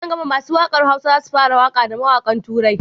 Nan gama masu waƙar hausa zasu fara waƙa da mawaƙan turai